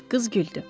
Qız güldü.